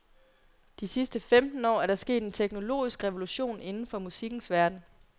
De sidste femten år er der sket en teknologisk revolution inden for musikkens verden.